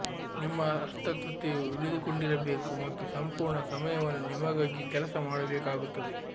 ನಿಮ್ಮ ಅಸ್ವಸ್ಥತೆಯು ಉಳಿದುಕೊಂಡಿರಬೇಕು ಮತ್ತು ಸಂಪೂರ್ಣ ಸಮಯವನ್ನು ನಿಮಗಾಗಿ ಕೆಲಸ ಮಾಡಬೇಕಾಗುತ್ತದೆ